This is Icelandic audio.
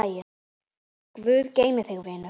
Guð geymi þig, vinur.